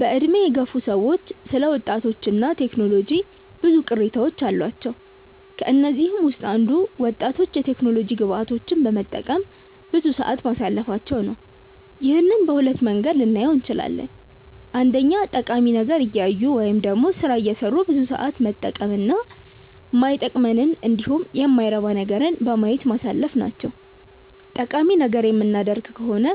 በዕድሜ የገፉ ሰዎች ስለ ወጣቶች እና ቴክኖሎጂ ብዙ ቅሬታዎች አሏቸው። ከነዚህም ውስጥ አንዱ ወጣቶች የቴክኖሎጂ ግብአቶችን በመጠቀም ብዙ ሰዓት ማሳለፋቸው ነው። ይህንን በሁለት መንገድ ልናየው እንችላለን። አንደኛ ጠቃሚ ነገር እያዩ ወይም ደግሞ ስራ እየሰሩ ብዙ ሰዓት መጠቀም እና ማይጠቅመንንን እንዲሁም የማይረባ ነገርን በማየት ማሳለፍ ናቸው። ጠቃሚ ነገር የምናደርግ ከሆነ